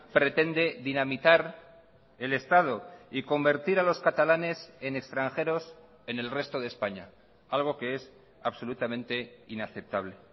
pretende dinamitar el estado y convertir a los catalanes en extranjeros en el resto de españa algo que es absolutamente inaceptable